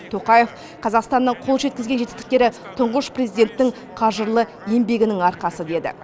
тоқаев қазақстанның қол жеткізген жетістіктері тұңғыш президенттің қажырлы еңбегінің арқасы деді